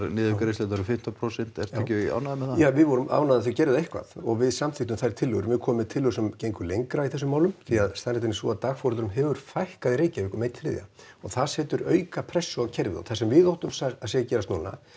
niðurgreiðslurnar um fimmtán prósent ertu ekki ánægður með það ja við vorum ánægð að þau gerðu eitthvað og við samþykktum þær tillögur við komum með tillögur sem gengu lengra í þessum málum því að staðreyndin er sú að dagforeldrum hefur fækkað í Reykjavík um einn þriðji og það setur auka pressu á kerfið og það sem við óttumst að sé að gerast núna